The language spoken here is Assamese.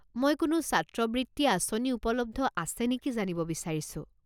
মই কোনো ছাত্ৰবৃত্তি আঁচনি উপলব্ধ আছে নেকি জানিব বিচাৰিছোঁ।